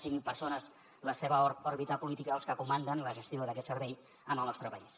siguin persones de la seva òrbita política els que comanden la gestió d’aquest servei en el nostre país